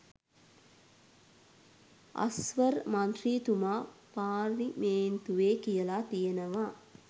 අස්වර් මන්ත්‍රීතුමා පාර්ලිමේන්තුවේ කියලා තියෙනවා